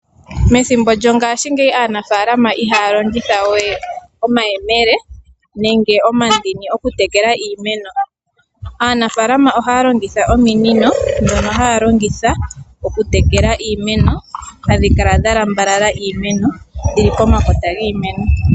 Methimbo lyongashingeyi aanafaalama ihaya longitha we omayemele nenge omandini okutekela iimeno, aanafaalama ohaya longitha ominino dhono haya longitha okutekela iimeno hadhi kala dha lambalala iimeno dhili pomakota.